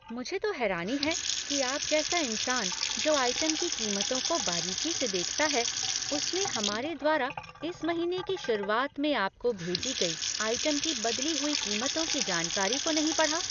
मुझे तो हैरानी है कि आप जैसा इंसान जो आइटम के कीमतों को बारीकी से देखता है, उसने हमारे द्वारा इस महीने की शुरुआत में आपको भेजी गई आइटम की बदली हुई कीमतों की जानकारी को नहीं पढ़ा।